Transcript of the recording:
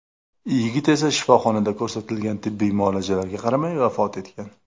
Yigit esa shifoxonada ko‘rsatilgan tibbiy muolajalarga qaramay vafot etgan.